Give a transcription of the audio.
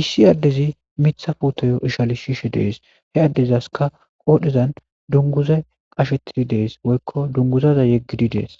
issi addezi mitha fuotoyo ishali shiishe dees he addezaska qoodhezan dunguze qashettidi dees woykko dunguzaza yeggidi dees.